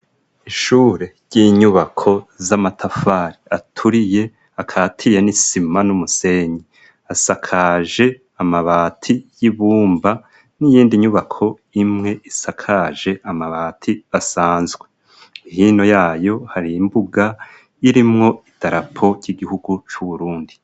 Ishure ry'inyubako z'amatafari aturiye akatiriye n'isima n'umusenyi ,asakaje amabati y'ibumba n'iyindi nyubako imwe isakaje amabati asanzwe ,hino yayo har' imbuga irimwo idarapo ry'igihugu c'Uburundi.